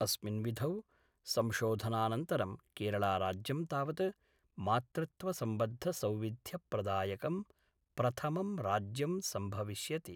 अस्मिन् विधौ संशोधनानंतरं केरळराज्यं तावत् मातृत्वसम्बद्धसौविध्यप्रदायकं प्रथमं राज्यं सम्भविष्यति।